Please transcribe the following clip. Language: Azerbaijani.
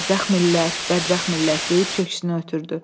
Bədbəxt millət, bədbəxt millət deyib köksünü ötürdü.